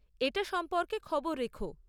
এটা সম্পর্কে খবর রেখো।